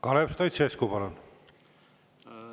Kalev Stoicescu, palun!